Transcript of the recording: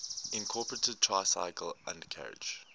incorporated tricycle undercarriage